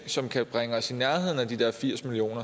som vil bringe os i nærheden af de her firs million